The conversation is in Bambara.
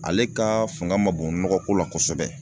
Ale ka fanga ma bon nɔgɔ ko la kosɛbɛ